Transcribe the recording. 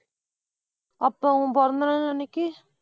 அப்ப உன் பிறந்தநாள் அன்னைக்கு?